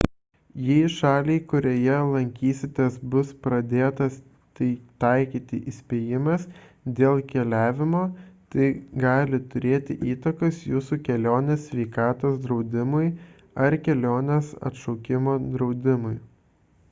jei šaliai kurioje lankysitės bus pradėtas taikyti įspėjimas dėl keliavimo tai gali turėti įtakos jūsų kelionės sveikatos draudimui ar kelionės atšaukimo draudimui